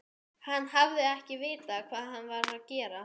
Hann hafi ekki vitað hvað hann var að gera.